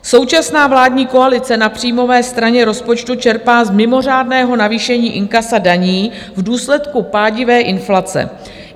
Současná vládní koalice na příjmové straně rozpočtu čerpá z mimořádného navýšení inkasa daní v důsledku pádivé inflace.